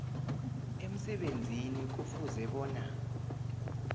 emsebenzini kufuze bona